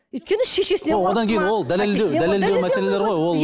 өйткені шешесінен қорықты ма ол дәлелдеу дәлелдеу мәселелері ғой ол